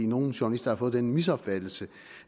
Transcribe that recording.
nogle journalister har fået den misopfattelse